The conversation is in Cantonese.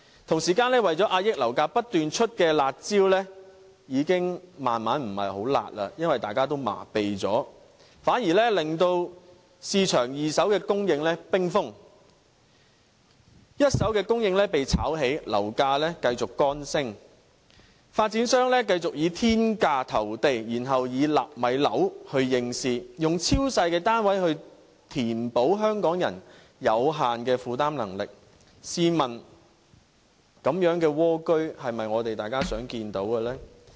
同時，為了遏抑樓價而不斷推出的"辣招"已漸漸不夠"辣"，因為大家也已經麻痺了，反而令市場二手供應冰封，一手供應被炒起，樓價繼續乾升，發展商繼續以天價投地，並以"納米樓"應市，以超細單位填補香港人有限的負擔能力，試問這種"蝸居"是否大家所樂見呢？